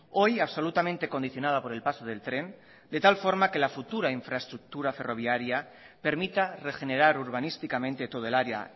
hoy absolutamente condicionada por el paso del tren de tal forma que la futura infraestructura ferroviaria permita regenerar urbanísticamente todo el área